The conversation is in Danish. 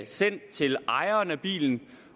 sendt til ejeren af bilen